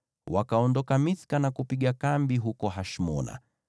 Wakaondoka Mithka na kupiga kambi huko Hashmona.